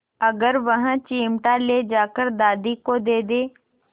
अगर वह चिमटा ले जाकर दादी को दे दे